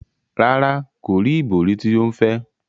Rara, ko ri ibori ti o ń fẹ.